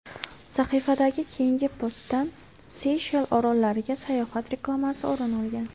Sahifadagi keyingi postdan Seyshel orollariga sayohat reklamasi o‘rin olgan.